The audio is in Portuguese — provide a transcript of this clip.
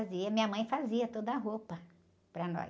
Fazia, minha mãe fazia toda a roupa para nós.